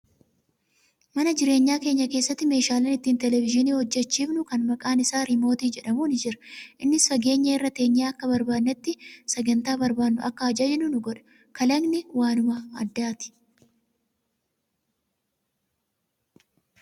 Mana jireenyaa keenya keessatti meeshaaleen ittiin televezyiinii hojjachiifnu kan maqaan isaa riimootii jedhamu ni jira. Innis fageenya irra teenyee akka barbaadnetti sagantaa barbaadnu akka ajajnu nu godha. Kalaqni kun waanuma addaati.